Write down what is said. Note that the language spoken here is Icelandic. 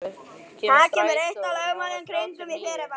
Snælaug, hvenær kemur strætó númer þrjátíu og níu?